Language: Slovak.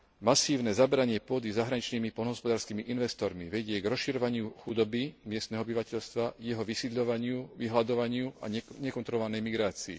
Masívne zabratie pôdy zahraničnými poľnohospodárskymi investormi vedie k rozširovaniu chudoby miestneho obyvateľstva, jeho vysídľovaniu, vyhladovaniu a nekontrolovanej migrácii.